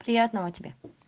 приятного тебе